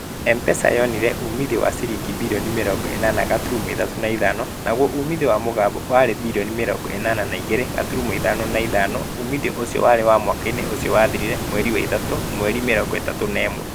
Mpesa yonire uuumithio wa ciringi birioni mĩringo ĩnana gaturumo ithathatũ na ithano. Naguo uuumithio wa mũgambo warĩ birioni mĩrongo inana na igĩre gaturumo ithano na ithano. Uuumithio ũcio warĩ wa mwaka-inĩ ũcio wathirire Machi 31.